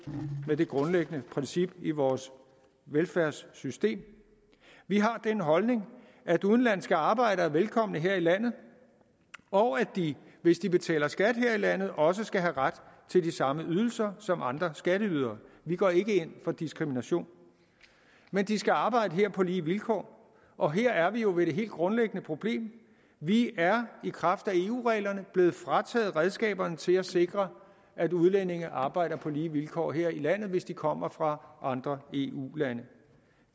med det grundlæggende princip i vores velfærdssystem vi har den holdning at udenlandske arbejdere er velkomne her i landet og at de hvis de betaler skat her i landet også skal have ret til de samme ydelser som andre skatteydere vi går ikke ind for diskrimination men de skal arbejde her på lige vilkår og her er vi jo ved det helt grundlæggende problem vi er i kraft af eu reglerne blevet frataget redskaberne til at sikre at udlændinge arbejder på lige vilkår her i landet hvis de kommer fra andre eu lande